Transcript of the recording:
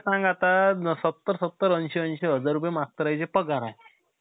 movie ची shooting झालेली आहे. आता आम्हाला जवान पण बघायचंय. आता-आता मी जवान movie बघायचंय आम्हाला कशी बनवलीय. काये जवान मध्ये,